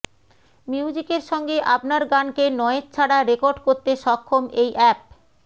মিউজিকের সঙ্গে আপনার গানকে নয়েজ ছাড়া রেকর্ড করতে সক্ষম এই অ্যাপ